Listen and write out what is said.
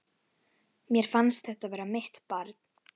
Mér fannst þetta vera mitt barn.